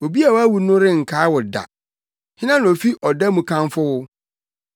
Obi a wawu no renkae wo da, hena na ofi ɔda mu kamfo wo?